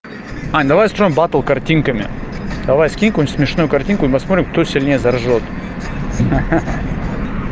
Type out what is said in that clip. ань давай устроим батл картинками давай скинь какую-нибудь смешную картинку и посмотрим кто сильнее заржёт ха-ха